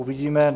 Uvidíme.